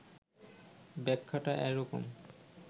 ব্যাখ্যাটা এরকম